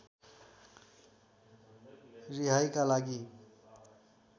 रिहाइका लागि